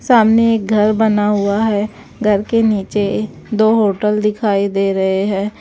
सामने एक घर बना हुआ है घर के नीचे दो होटल दिखाई दे रहे हैं।